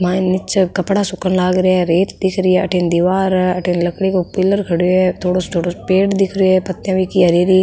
मायने नीचे कपडा सुखन लाग रिया है रेत दिख री अठीने दिवार है अठीने लकड़ी को पिलर खड़यो है थोड़ो छोटो सो पेड़ दिख रियो है पत्तियां बिकी हरी हरी।